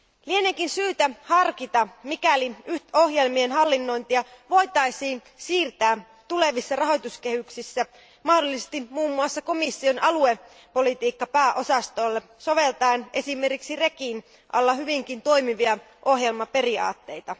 Lieneekin syytä harkita, voitaisiinko ohjelmien hallinnointia siirtää tulevissa rahoituskehyksissä mahdollisesti muun muassa komission aluepolitiikkapääosastolle soveltaen esimerkiksi REGIn alla hyvinkin toimivia ohjelmaperiaatteita.